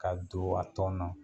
Ka don a tɔn na.